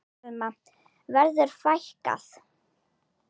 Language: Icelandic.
Telma: Verður fækkað?